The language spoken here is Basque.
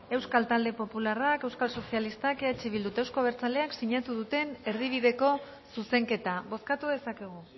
euskal talde popularrak euskal sozialistak eh bildu eta euzko abertzaleak sinatu duten erdibideko zuzenketa bozkatu dezakegu